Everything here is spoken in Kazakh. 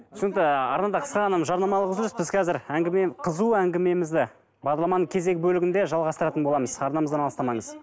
түсінікті арнада қысқа ғана жарнамалық үзіліс біз қазір әңгіме қызу әңгімемізді бағдарламаның кезегі бөлігінде жалғастыратын боламыз арнамыздан алыстамаңыз